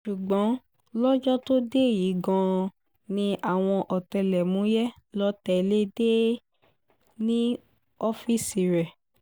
ṣùgbọ́n lọ́jọ́ tó dé yìí gan-an ni àwọn ọ̀tẹlẹ̀múyẹ́ lọ́ọ́ tẹ́lẹ̀ dé e ní ọ́ọ́fíìsì rẹ̀